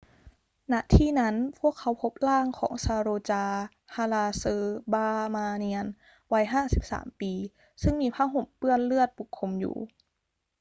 ณ ที่นั้น พวกเขาพบร่างของ saroja balasubramanian วัย 53 ปีซึ่งมีผ้าห่มเปื้อนเลือดปกคลุมอยู่